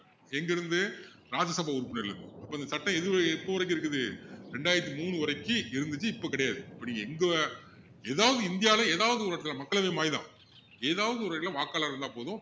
எங்க இருந்து ராஜ்ய சவா உறுப்பினர்ல இருந்து அப்போ இந்த சட்டம் எது எப்போ வரைக்கும் இருக்குது ரெண்டாயிரத்து மூணுவரைக்கும் இருந்திச்சு இப்போ கிடையாது இப்போ நீங்க எங்க எதாவது இந்தியாவுல எதாவது ஒரு இடத்துல மக்களவை மாநிலம் ஏதாவது ஒரு இடத்துல வாக்காளரா இருந்தா போதும்